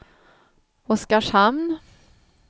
Oskarshamn